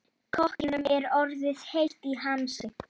Kokkinum er orðið heitt í hamsi.